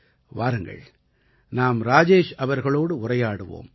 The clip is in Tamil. வாருங்கள் நாம் ராஜேஷ் அவர்களோடு உரையாடுவோம்